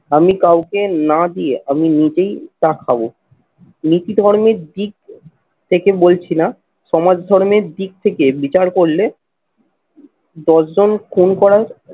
আমি কাউকে না দিয়ে আমি নিজেই তা খাবো। নীতি ধর্মের দিক থেকে বলছি না সমাজ ধর্মের দিক থেকে বিচার করলে দশজন খুন করার